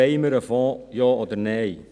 Wollen wir einen Fonds, ja oder nein?